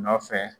Nɔfɛ